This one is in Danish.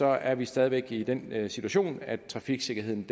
er vi stadig væk i den situation at trafiksikkerheden